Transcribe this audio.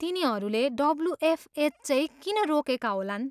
तिनीहरूले डब्ल्युएफएच चैँ किन रोकेका होलान्?